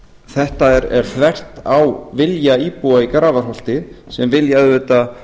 þetta er þvert á vilja íbúa í grafarholti sem vilja auðvitað